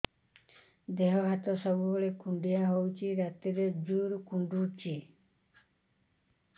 ଦେହ ହାତ ସବୁବେଳେ କୁଣ୍ଡିଆ ହଉଚି ରାତିରେ ଜୁର୍ କୁଣ୍ଡଉଚି